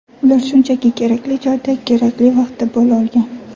Ular shunchaki kerakli joyda kerakli vaqtda bo‘la olgan.